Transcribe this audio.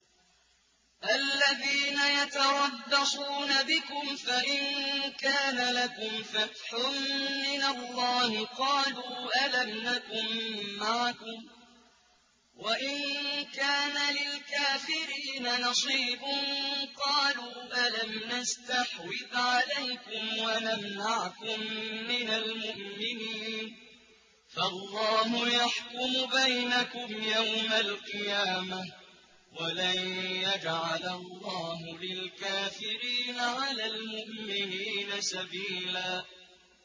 الَّذِينَ يَتَرَبَّصُونَ بِكُمْ فَإِن كَانَ لَكُمْ فَتْحٌ مِّنَ اللَّهِ قَالُوا أَلَمْ نَكُن مَّعَكُمْ وَإِن كَانَ لِلْكَافِرِينَ نَصِيبٌ قَالُوا أَلَمْ نَسْتَحْوِذْ عَلَيْكُمْ وَنَمْنَعْكُم مِّنَ الْمُؤْمِنِينَ ۚ فَاللَّهُ يَحْكُمُ بَيْنَكُمْ يَوْمَ الْقِيَامَةِ ۗ وَلَن يَجْعَلَ اللَّهُ لِلْكَافِرِينَ عَلَى الْمُؤْمِنِينَ سَبِيلًا